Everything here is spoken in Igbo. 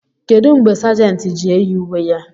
kedu mgbe Sàgèntị ji-eyi uwe ya